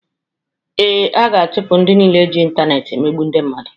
Ee, a ga-achụpụ ndị nile ji intaneeti emegbu ndị mmadụ.